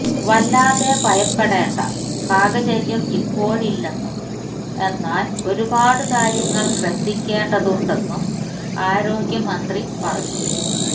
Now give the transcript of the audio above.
വല്ലാതെ ഭയപ്പെടേണ്ട സാഹചര്യം ഇപ്പോഴില്ലെന്നും എന്നാല് ഒരുപാട് കാര്യങ്ങള് ശ്രദ്ധിക്കേണ്ടതുണ്ടെന്നും ആരോഗ്യ മന്ത്രി പറഞ്ഞു